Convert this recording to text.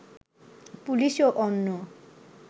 police ও অন্য